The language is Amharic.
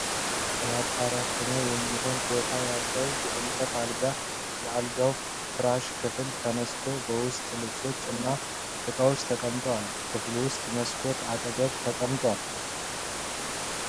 ለማጠራቀሚያ የሚሆን ቦታ ያለው የእንጨት አልጋ የአልጋው ፍራሽ ክፍል ተነስቶ በውስጥ ልብሶች እና ዕቃዎች ተቀምጠዋል። ክፍል ውስጥ መስኮት አጠገብ ተቀምጧል።